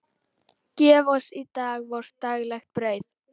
Gef oss í dag vort daglegt brauð.